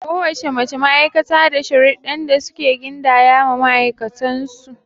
Ko wace ma'aikata da sharuɗdɗan da suke gindaya ma ma'aikatan su.